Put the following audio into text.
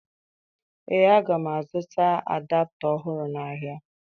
Ee, aga m azụta adapta ọhụrụ n'ahịa.